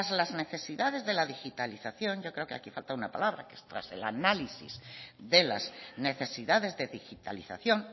las necesidades de la digitalización yo creo que aquí falta una palabra que es tras el análisis de las necesidades de digitalización